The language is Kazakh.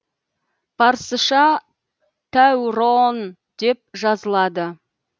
парсыша тәуроон деп жазылады